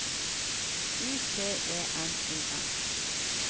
U T E N O M